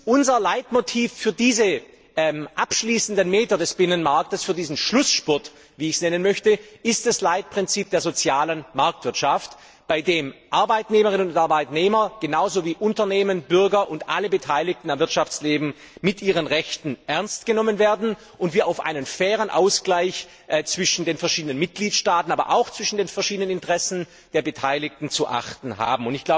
Unser Leitmotiv für diese abschließenden Meter des Binnenmarkts, für diesen Schlussspurt, wie ich es nennen möchte, ist das Leitprinzip der sozialen Marktwirtschaft, bei dem Arbeitnehmerinnen und Arbeitnehmer genauso wie Unternehmen, Bürger und alle Beteiligten am Wirtschaftsleben mit ihren Rechten ernstgenommen werden und wir auf einen fairen Ausgleich zwischen den verschiedenen Mitgliedstaaten, aber auch zwischen den verschiedenen Interessen der Beteiligten zu achten haben.